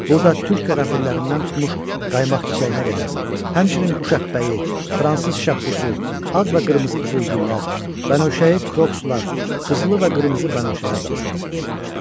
Burda türk qərənfillərindən tutmuş qaymaq çiçəyinə qədər, həmçinin quş əppəyi, fransız şəpbussu, ağ və qırmızı qızılgüllər, bənövşə, krokslar, qızılı və qırmızı bənövşələr də vardı.